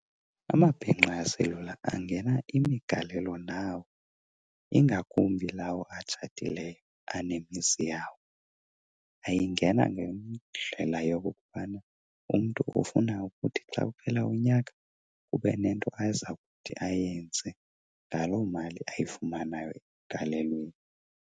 Amabhinqa aselula angena imigalelo nawo, ingakumbi lawo atshatileyo anemizi yawo. Ayingena ngendlela yokokubana umntu ufuna ukuthi xa uphela unyaka kube nento aza kuthi ayenze ngaloo mali ayifumanayo emgalelweni.